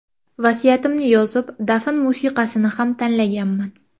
Vasiyatimni yozib, dafn musiqasini ham tanlaganman.